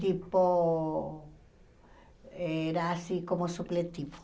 Tipo, era assim como supletivo.